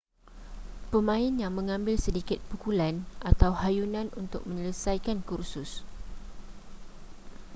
pemain yang mengambil sedikit pukulan atau hayunan untuk menyelesaikan kursus